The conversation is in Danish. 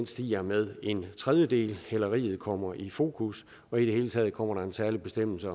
stiger med en tredjedel hæleri kommer i fokus og i det hele taget kommer der en særlig bestemmelse